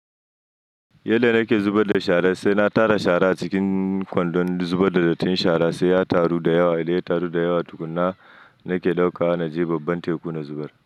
Yanda nake zubar da shara saina tara shara a cikin kwandon zubar da dattin shara sai ya taru da yawa, idan ya taru da yawa tukuna nake ɗaukawa je babban teku na zubar.